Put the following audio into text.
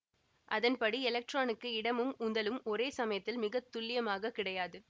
அதன் படி எலக்ட்ரானுக்கு இடமும் உந்தலும் ஒரே சமயத்தில் மிகத்துல்லியமாக கிடையாது